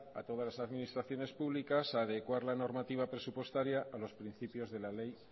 a todas las administraciones públicas a adecuar la normativa presupuestaria a los principios de la ley